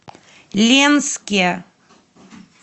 ленске